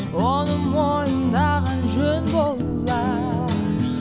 оны мойындаған жөн болар